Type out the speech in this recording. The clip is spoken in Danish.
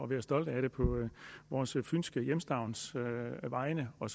være stolte af det på vores fynske hjemstavns vegne og